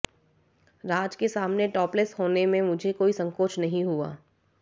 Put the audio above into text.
राज के सामने टॉपलेस होने में मुझे कोई संकोच नहीं हुआ